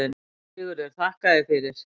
SIGURÐUR: Þakka þér fyrir.